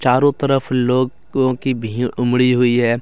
चारों तरफ लोगों की भीड़ उमड़ी हुई है।